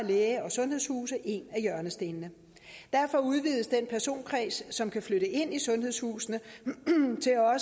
læge og sundhedshuse en af hjørnestenene derfor udvides den personkreds som kan flytte ind i sundhedshusene